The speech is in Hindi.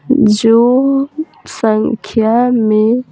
जो संख्या में --